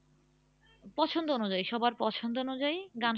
পছন্দ অনুযায়ী সবার পছন্দ অনুযায়ী গান শোনা